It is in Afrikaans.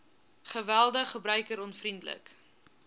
geweldig gebruiker onvriendelik